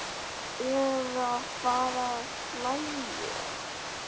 Eða fara að hlæja.